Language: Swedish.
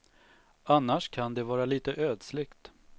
Annars kan det vara lite ödsligt.